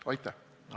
Aitäh!